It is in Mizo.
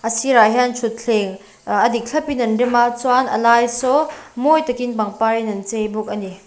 a sîrah hian ṭhutthlêng ah a dik thlapin an rem a chuan a lai saw mawi takin pangparin an chei bawk a ni.